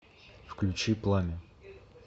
включи пламя